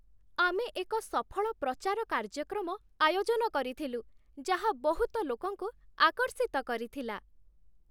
ଆମେ ଏକ ସଫଳ ପ୍ରଚାର କାର୍ଯ୍ୟକ୍ରମ ଆୟୋଜନ କରିଥିଲୁ, ଯାହା ବହୁତ ଲୋକଙ୍କୁ ଆକର୍ଷିତ କରିଥିଲା।